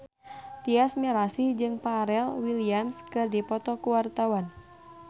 Tyas Mirasih jeung Pharrell Williams keur dipoto ku wartawan